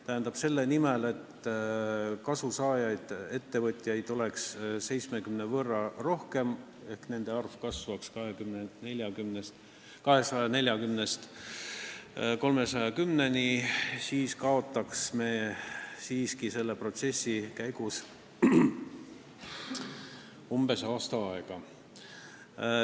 Tähendab, selle nimel, et kasu saavaid ettevõtjaid oleks 70 võrra rohkem, et nende arv kasvaks 240-lt 310-ni, me kaotaks selle protsessi käigus umbes aasta.